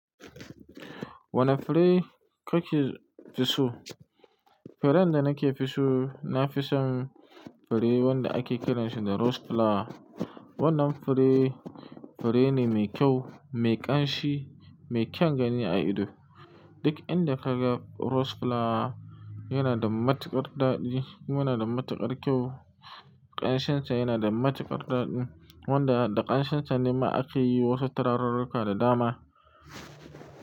Wane fure kake so? Furen da nake so, na fi son fure wanda ake kiransa da rose flower. Wannan fure, fure ne mai kyau, mai ƙanshi, mai kyan gani a ido. Duk inda ka ga rose flower yana da matuƙar daɗi. Kuma yana da matuƙar kyau. Ƙanshin sa yana da matuƙar daɗi. Wanda da ƙanshin sa ne ma ake yi wasu turarurruka da dama.